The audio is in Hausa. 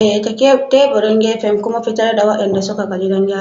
Daidaita teburin gefen kuma fitar da waɗanda suka gaji don gyarawa.